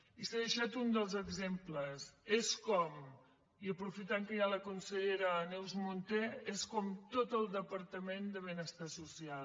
i s’ha deixat un dels exemples és com i aprofitant que hi ha la consellera neus munté tot el departament de benestar social